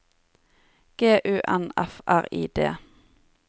G U N F R I D